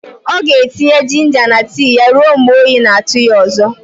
Ọ ga-etinye jinja na tii ya ruo mgbe oyi na-atụ ya ọzọ.